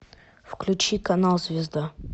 включи канал звезда